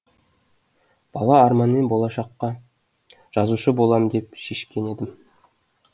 бала арманмен болашақта жазушы болам деп шешкен едім